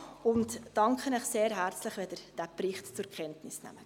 Ich danke Ihnen sehr herzlich, wenn Sie den Bericht zur Kenntnis nehmen.